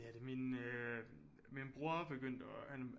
Det er det min øh min bror begyndte at